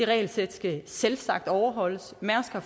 regelsæt skal selvsagt overholdes mærsk har